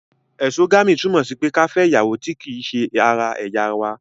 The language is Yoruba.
Ẹ̀sogami, túmọ̀ sí pé ká fẹ ìyàwó ti ki se ara ẹ̀yà wa